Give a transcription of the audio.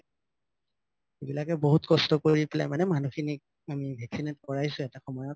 এইবিলাকে বহুত কষ্ট কৰি দিলে মানে মানুহখিনি vaccinate কৰাইছো এটা সময়ত